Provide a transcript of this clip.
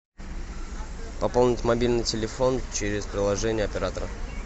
пополнить мобильный телефон через приложение оператора